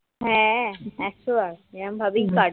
হ্যাঁ একশ বার এরম ভাবেই কাটবে